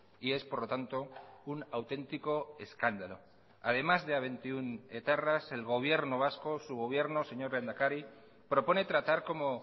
y es por lo tanto un auténtico escándalo además de a veintiuno etarras el gobierno vasco su gobierno señor lehendakari propone tratar como